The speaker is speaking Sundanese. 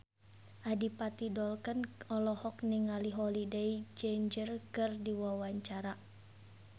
Adipati Dolken olohok ningali Holliday Grainger keur diwawancara